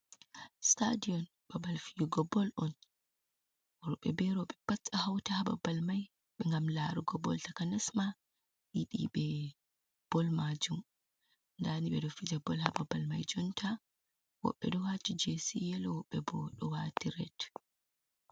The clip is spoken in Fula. Sitadion babal fiyugo bol on, worbe be rowɓe pat hauta ha babal mai ngam larugo bol, taka nasma yiɗi ɓe bol majum, dani ɓe ɗo fija bol ha babal mai jonta, woɓɓe ɗo wati gesi yelo woɓɓe bo ɗo wati red.